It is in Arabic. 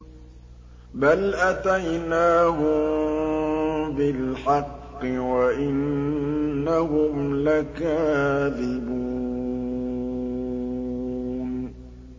بَلْ أَتَيْنَاهُم بِالْحَقِّ وَإِنَّهُمْ لَكَاذِبُونَ